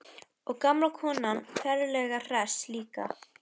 Og gamla konan ferlega hress líka.